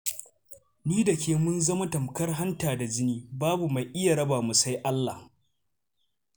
Ni da ke mun zama tamkar hanta da jini, babu mai iya raba mu sai Allah.